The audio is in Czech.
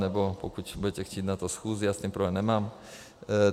Nebo pokud budete chtít na to schůzi, já s tím problém nemám.